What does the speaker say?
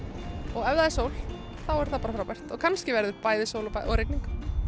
og ef það er sól þá er það bara frábært en kannski verður bæði sól og rigning